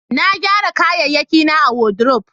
na gyara kayayyaki na a wadrob